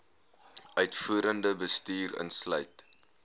uitvoerende bestuur insluit